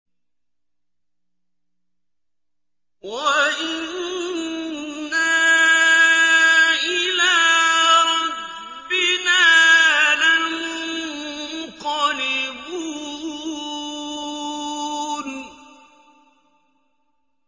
وَإِنَّا إِلَىٰ رَبِّنَا لَمُنقَلِبُونَ